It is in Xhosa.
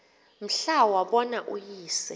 mhla wabona uyise